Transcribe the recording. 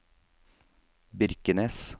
Birkenes